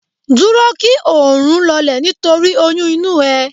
Dúró kí oòrùn lọlẹ̀ nítorí oyún inú ẹ